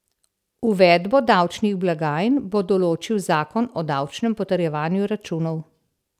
Uvedbo davčnih blagajn bo določil zakon o davčnem potrjevanju računov.